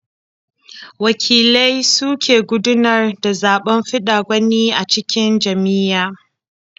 Wakilai su ke gudanar da zaɓen fidda gwani a cikin jam'iyya.